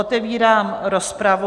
Otevírám rozpravu.